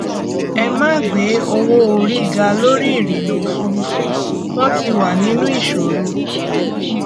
ẹ má gbé owóorí ga lórí ìrìnà òfurufú wọn ti wà nínú ìṣòro